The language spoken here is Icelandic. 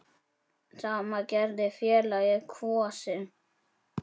Sama gerði félagið Kvosin.